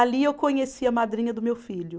Ali eu conheci a madrinha do meu filho.